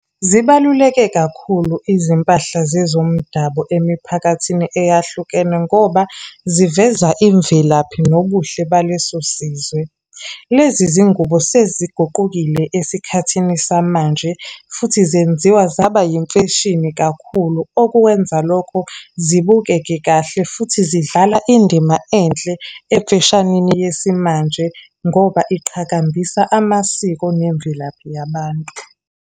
Zibaluleke kakhulu izimpahla zezomdabu emiphakathini eyahlukene, ngoba ziveza imvelaphi nobuhle baleso sizwe. Lezi zingubo seziguqukile esikhathini samanje. Futhi zenziwa zaba yimfeshini kakhulu, okuwenza lokhu zibukeke kahle, futhi zidlala indima enhle emfeshanini yesimanje, ngoba ziqhakambisa amasiko nemvelaphi yabantu.